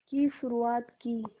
की शुरुआत की